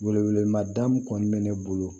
Wele wele ma da min kɔni bɛ ne bolo